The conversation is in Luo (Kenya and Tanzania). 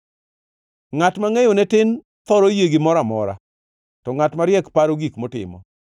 Ngʼat mangʼeyone tin thoro yie gimoro amora, to ngʼat mariek paro gik motimo.